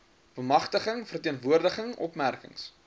bemagtiging verteenwoordiging opmerkings